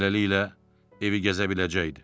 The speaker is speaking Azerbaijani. Beləliklə, evi gəzə biləcəkdi.